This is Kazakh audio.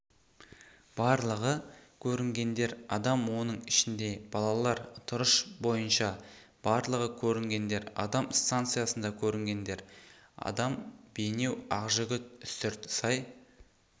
барлығы көрінгендер адам оның ішінде балалар тұрыш бойынша барлығы көрінгендер адам станциясында көрінгендер адам бейнеу ақжігіт үстірт сай